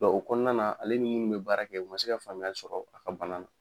Nga o kɔnɔna na ale ni munnu be baara kɛ u ma se ka faamuya sɔrɔ a ka bana na